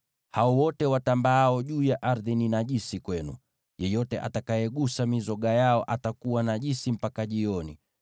Hao wote watambaao juu ya ardhi ni najisi kwenu. Yeyote agusaye mizoga yao atakuwa najisi mpaka jioni.